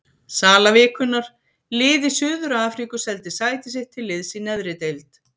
Sala vikunnar: Lið í Suður-Afríku seldi sæti sitt til liðs í neðri deild.